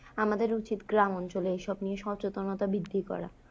আমাদের উচিত গ্রামাঞ্চলে এসব নিয়ে সচেতনতা বৃদ্ধি করা।